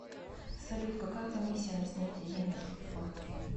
салют какая комиссия на снятие денег в сбербанке